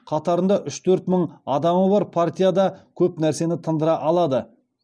қатарында үш төрт мың адамы бар партия да көп нәрсені тындыра алады